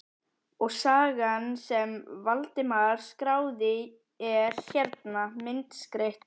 Og sagan sem Valdimar skráði er hérna, myndskreytt.